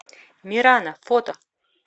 мирана фото